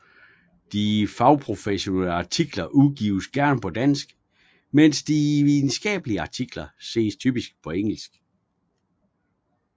De fagprofessionelle artikler udgives gerne på dansk mens de videnskabelige artikler ses typisk på engelsk